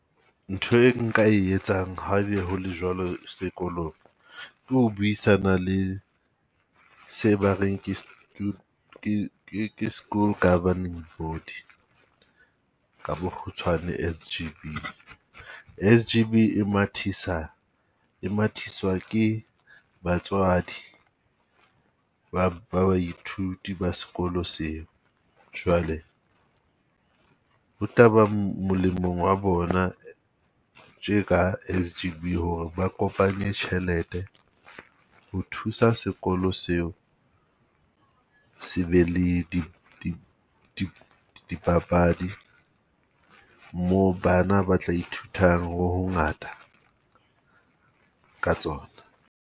Ntho e nka e etsang ha ebe hole jwalo sekolong, ke ho buisana le se ba reng ke ke ke ke school governing body ka bokgutshwane S_G_B. S_G_B e mathisa e mathiswa ke batswadi ba baithuti ba sekolo seo, jwale ho tla ba molemong wa bona tje ka S_G_B ho re ba kopanye tjhelete ho thusa sekolo seo. Se be le dipapadi moo bana ba tla ithutang ho hongata ka tsona.